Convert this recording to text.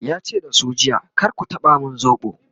yace da su jiya"kar ku taba min sobo!'